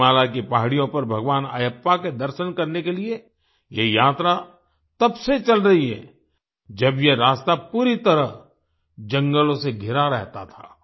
सबरीमाला की पहाड़ियों पर भगवान अयप्पा के दर्शन करने के लिए ये यात्रा तब से चल रही है जब ये रास्ता पूरी तरह जंगलों से घिरा रहता था